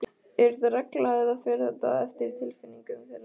Er þetta regla eða fer þetta eftir tilfinningu þeirra?